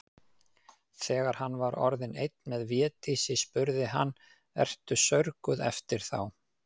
Þegar hann var orðinn einn með Védísi spurði hann:-Ertu saurguð eftir þá.